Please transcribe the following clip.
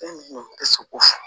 tɛ se k'o fɔ